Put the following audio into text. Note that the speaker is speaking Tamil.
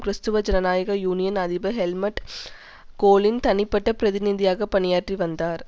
கிறிஸ்தவ ஜனநாயக யூனியன் அதிபர் ஹெல்முட் கோலின் தனிப்பட்ட பிரதிநிதியாக பணியாற்றி வந்தார்